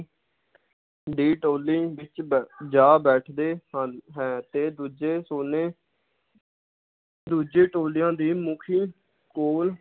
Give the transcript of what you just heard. ਦੀ ਟੋਲੀ ਵਿਚ ਬੈ~ ਜਾ ਬੈਠਦੇ ਹਨ ਹੈ ਤੇ ਦੂਜੇ ਟੋਲੇ ਦੂਜੇ ਟੋਲਿਆਂ ਦੀ ਮੁਖੀ ਕੋਲ